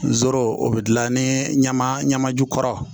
N zoro o bɛ dilan ni ɲama ɲama jukɔrɔ